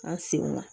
An sen na